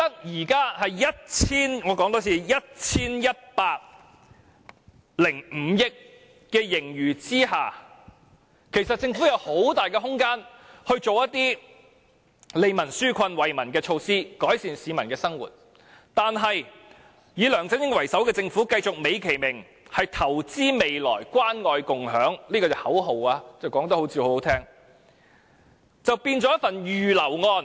在現時已錄得 1,105 億元盈餘之下，政府其實有很大空間推出利民紓困和惠民措施，改善市民的生活，但是以梁振英為首的政府卻繼續美其名以"投資未來、關愛共享"這個動聽的口號，把預算案變成一份"預留案"。